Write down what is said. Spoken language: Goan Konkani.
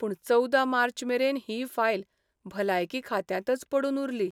पूण चवदा मार्चमेरेन ही फायल भलायकी खात्यांतच पडून उरली.